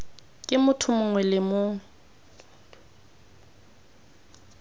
ke motho mongwe le mongwe